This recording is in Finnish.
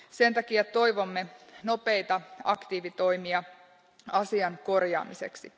Sen takia toivomme nopeita aktiivitoimia asian korjaamiseksi.